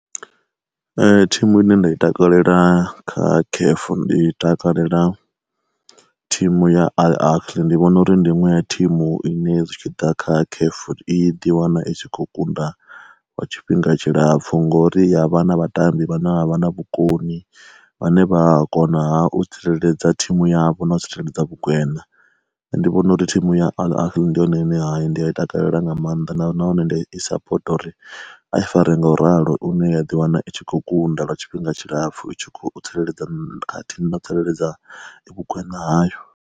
Thimu ine nda i takalela kha caf ndi takalela thimu ya Al Ahly ndi vhona uri ndi inwe ya thimu ine zwi tshi ḓa kha C_A_F i di wana itshi kho kunda wa tshifhinga tshilapfu ngori ya vha na vhatambi vhane vhavha na vhukoni, vhane vha konaha u tsireledza thimu yavho na u tsireledza vhugwena. Nṋe ndi vhona uri thimu ya Al Ahly ndi yone ine ya hai ndi a i takalela nga maanḓa na nahone ndi i sapota uri a i fare nga u ralo une wa ḓi wana i tshi khou kunda lwa tshifhinga tshilapfhu i tshi khou tsireledza khathihi na u tsireledza vhu gwena hayo.